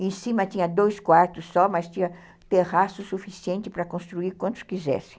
Em cima tinha dois quartos só, mas tinha terraço suficiente para construir quantos quisessem.